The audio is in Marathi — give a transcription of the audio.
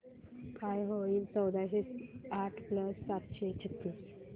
काय होईल चौदाशे आठ प्लस सातशे छ्त्तीस